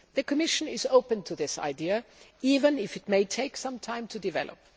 The Commission is open to this idea even if it may take some time to develop.